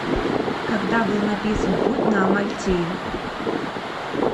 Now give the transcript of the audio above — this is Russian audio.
когда был написан путь на амальтею